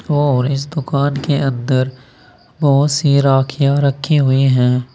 और इस दुकान के अंदर बहोत सी राखियां रखी हुई है।